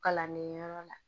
Kalanden yɔrɔ la